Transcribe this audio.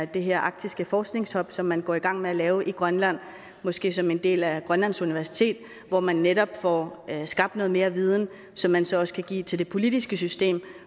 det her arktiske forskningshub som man går i gang med at lave i grønland måske som en del af grønlands universitet så man netop får skabt noget mere viden som man så også kan give til det politiske system